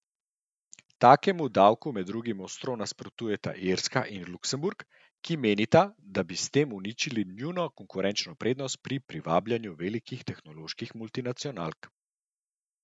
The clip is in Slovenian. Takemu davku med drugim ostro nasprotujeta Irska in Luksemburg, ki menita, da bi s tem uničili njuno konkurenčno prednost pri privabljanju velikih tehnoloških multinacionalk.